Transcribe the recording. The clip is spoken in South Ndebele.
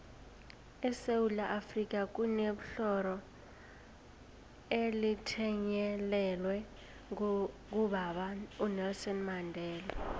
esewula afrika kunebhlorho elithiyelelwe ngobaba unelson mandela